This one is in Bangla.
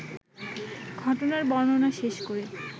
ঘটনার বর্ণনা শেষ করে